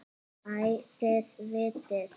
Æ, þið vitið.